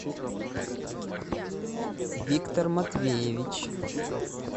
виктор матвеевич